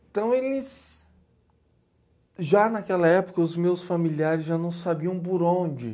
Então, eles... Já naquela época, os meus familiares já não sabiam bor onde.